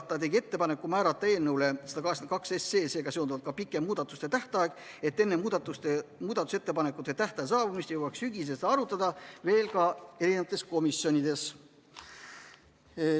Ta tegi ettepaneku määrata eelnõule 182 sellega seonduvalt ka pikem muudatusettepanekute tähtaeg, et enne muudatusettepanekute esitamise tähtaja saabumist jõuaks sügisel seda arutada veel ka komisjonides.